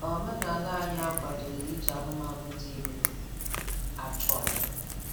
Omenaala anyị akwadoghị iji anụmanụ dị ime achụ aja